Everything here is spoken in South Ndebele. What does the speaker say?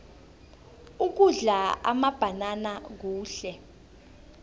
ukudla amabhanana kuhle